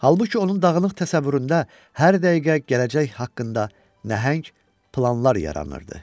Halbuki onun dağınıq təsəvvüründə hər dəqiqə gələcək haqqında nəhəng planlar yaranırdı.